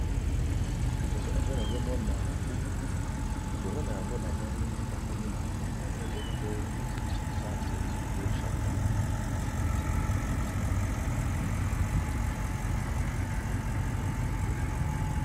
Liboso na nga nazomona buku likolo na yango namoni bakomi na monoko ya lopoto ensamble e pour chacun